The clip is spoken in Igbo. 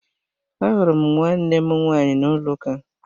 Ahụrụ m nwannem nwaanyị n'ụlọ uka